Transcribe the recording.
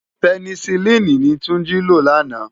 Pènèsilini ni Tunji ló làná